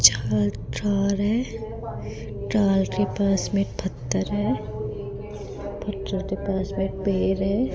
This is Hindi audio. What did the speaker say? जहां तार है तार के पास में पत्थर है पत्थर के पास में पेड़ है।